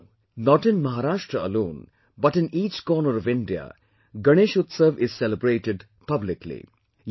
Now, not in Maharashtra alone but in each corner of India, Ganesh Utsav is celebrated publicly